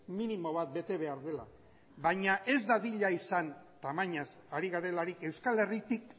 minimo bat bete behar dela baina ez dadila izan tamainaz ari garelarik euskal herritik